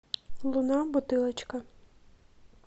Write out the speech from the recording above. луна бутылочка